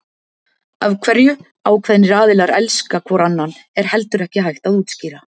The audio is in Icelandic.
Af hverju ákveðnir aðilar elska hvor annan er heldur ekki hægt að útskýra.